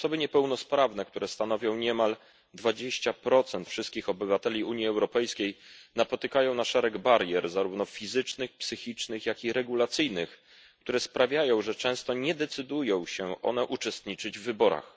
Osoby niepełnosprawne, które stanowią niemal 20 wszystkich obywateli Unii Europejskiej, napotykają szereg barier, zarówno fizycznych, psychicznych, jak i regulacyjnych, które sprawiają, że często nie decydują się one uczestniczyć w wyborach.